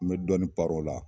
N bɛ dɔɔni paro o la.